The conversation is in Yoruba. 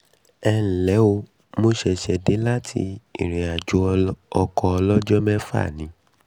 ẹ ǹ lẹ́ o mo ṣẹ̀ṣẹ̀ dé láti ìrìnàjò ọkọ̀ ọlọ́jọ́ mẹ́fà ọkọ̀ ọlọ́jọ́ mẹ́fà ni